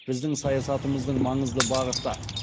біздің саясатымыздың маңызды бағыты